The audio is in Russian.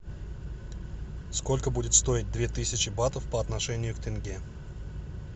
сколько будет стоить две тысячи батов по отношению к тенге